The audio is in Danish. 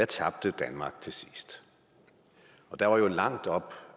tabte danmark til sidst der var jo langt op